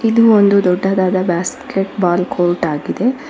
ಇದು ಒಂದು ದೊಡ್ಡದಾದ ಬ್ಯಾಸ್ಕೆಟ್ ಬಾಲ್ ಕೋರ್ಟ್ ಆಗಿದೆ.